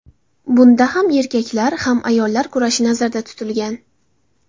Bunda ham erkaklar, ham ayollar kurashi nazarda tutilgan.